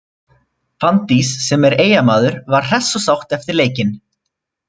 Fanndís, sem er Eyjamaður var hress og sátt eftir leikinn.